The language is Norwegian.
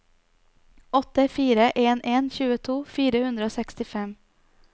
åtte fire en en tjueto fire hundre og sekstifem